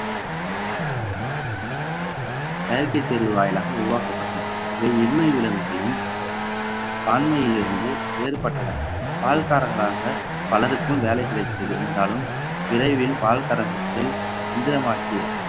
செயற்கை சேர்வு வாயிலாக உருவாக்கப்பட்டன இவை விலங்குகளின் ஆண்மையிலிருந்து வேறுபட்டன பால்காரர்களாக பலருக்கும் வேலை கிடைத்தது என்றாலும் விரைவில் பால் கறகத்தில் எந்திரமாக்கிய